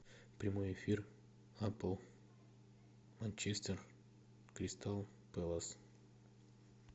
прямой эфир апл манчестер кристал пэлас